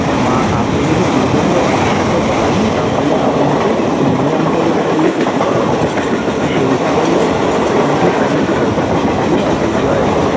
মা আপনি যদি দু জনের একসাথে করান তাহলে আপনাকে premium টা যেটা pay করতে করতে হবে সেইটা হলো twenty five thousand ঠিক আছে yearly